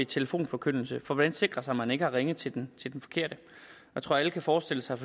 telefonforkyndelse for hvordan sikre sig at man ikke har ringet til den forkerte jeg tror at alle kan forestille sig